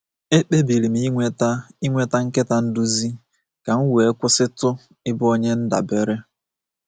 Ekpebiri m inweta inweta nkịta nduzi ka m wee kwụsịtu ịbụ onye ndabere.